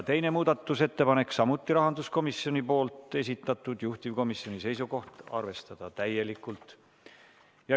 Teine muudatusettepanek on samuti rahanduskomisjoni esitatud, juhtivkomisjoni seisukoht: arvestada täielikult.